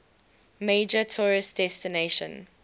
major tourist destination